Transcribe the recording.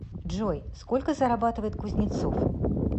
джой сколько зарабатывает кузнецов